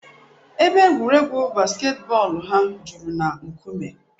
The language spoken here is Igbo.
Ebe egwuregwu basketboolu ha juru na nkume.